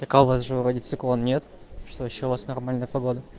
так а у вас же вроде циклон нет что ещё у вас нормальная погода